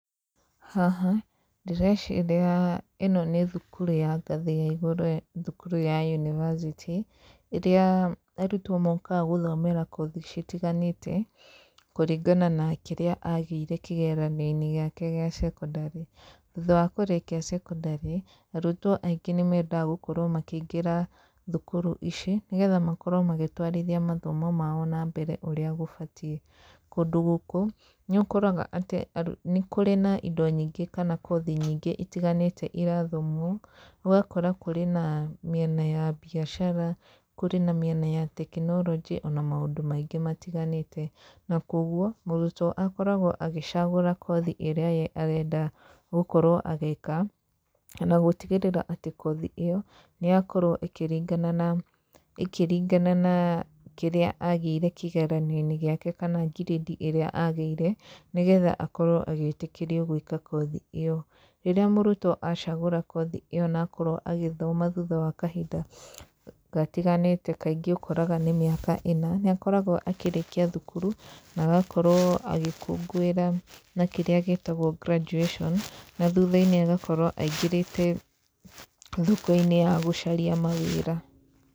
Haha, ndĩreciria ĩno nĩ thukuru ya ngathĩ ya igũrũ thukuru ya yunibacĩtĩ, ĩrĩa arutwo mokaga gũthomera kothi citiganĩte kũringana na kĩrĩa agĩire kĩgeranio-inĩ gĩake kĩa cekondarĩ.T hutha wa kũrĩkia cekondarĩ, arutwo aingĩ nĩ mendaga gũkorwo makĩingĩra thukuru ici, nĩgetha makorwo magĩtwarithia mathomo mao na mbere ũrĩa gũbatiĩ. Kũndũ gũkũ, nĩ ũkoraga atĩ nĩ kũrĩ na indo nyingĩ kana kothi nyingĩ itiganĩte irathomwo, ũgakora kũrĩ na mĩena ya mbiacara, kũrĩ na mĩena ya tekinoronjĩ, ona maũndũ maingĩ matiganĩte, na koguo mũrutwo akoragwo agĩcagũra kothi ĩrĩa ye arenda gũkorwo agĩka, na gũtigĩrĩra atĩ kothi ĩyo, nĩ yakorwo ĩkĩringana na, ĩkĩringana na kĩrĩa agĩire kĩgeranio-inĩ gĩake kana ngirĩndi ĩrĩa agĩire, nĩgetha akorwo agĩĩtĩkĩrio gwĩka kothi ĩyo. Rĩrĩa mũrutwo acagũra kothi ĩyo na akorwo agĩthoma thutha wa kahinda gatiganĩte, kaingĩ ũkoraga nĩ mĩaka ĩna, nĩ akoragwo akĩrĩkia thukuru, na agakorwo agĩkũngũira na kĩrĩa gĩtagwo graduation na thutha-inĩ agakorwo aingĩrĩte thoko-inĩ ya gũcaria mawĩra.